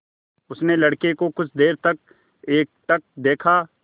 उसने लड़के को कुछ देर तक एकटक देखा